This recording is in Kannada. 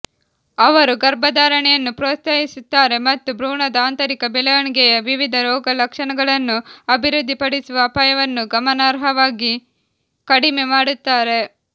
ಅವರು ಗರ್ಭಧಾರಣೆಯನ್ನು ಪ್ರೋತ್ಸಾಹಿಸುತ್ತಾರೆ ಮತ್ತು ಭ್ರೂಣದ ಆಂತರಿಕ ಬೆಳವಣಿಗೆಯ ವಿವಿಧ ರೋಗಲಕ್ಷಣಗಳನ್ನು ಅಭಿವೃದ್ಧಿಪಡಿಸುವ ಅಪಾಯವನ್ನು ಗಮನಾರ್ಹವಾಗಿ ಕಡಿಮೆ ಮಾಡುತ್ತಾರೆ